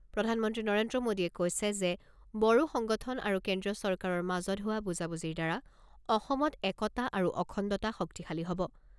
প্ৰধানমন্ত্ৰী নৰেন্দ্ৰ মোদীয়ে কৈছে যে, বড়ো সংগঠন আৰু কেন্দ্ৰীয় চৰকাৰৰ মাজত হোৱা বুজাবুজিৰ দ্বাৰা অসমৰ একতা আৰু অখণ্ডতা শক্তিশালী হ'ব।